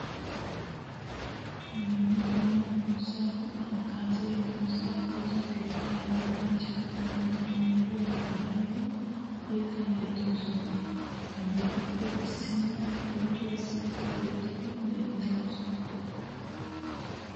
Dumma dumma xoosa keetta hagazziya xoosa woosa keetta yettanchchatti bantta maayuwa maayiddi yetta yexxosonna. Hagettuppe issinna pootuwa sitti oottada denttawusu.